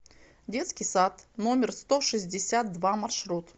детский сад номер сто шестьдесят два маршрут